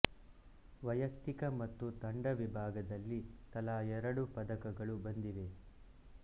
ವೈಯಕ್ತಿಕ ಮತ್ತು ತಂಡ ವಿಭಾಗದಲ್ಲಿ ತಲಾ ಎರಡು ಪದಕಗಳು ಬಂದಿವೆ